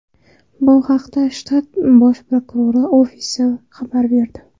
Bu haqda shtat bosh prokurori ofisi xabar berdi .